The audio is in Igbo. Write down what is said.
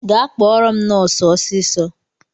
Gaa kpọrọ m nọsu ọsịsọ!